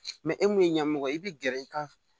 e mun ye ɲɛmɔgɔ ye i bɛ gɛrɛ i ka